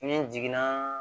Ni n jiginna